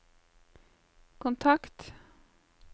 kontakt